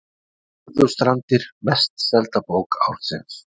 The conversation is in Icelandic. Furðustrandir mest selda bók ársins